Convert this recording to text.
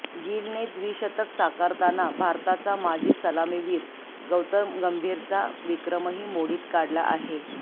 गिलने द्विशतक साकारताना भारताचा माजी सलामीवीर गौतम गंभीरचा विक्रमही मोडीत काढला आहे